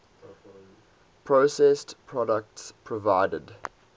processed products provided